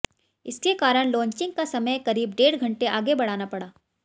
इसके कारण लॉन्चिंग का समय करीब डेढ़ घंटे आगे बढ़ाना पड़ा